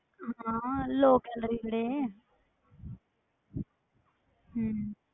ਹਾਂ lock ਵਾਲੇ ਜਿਹੜੇ ਹਮ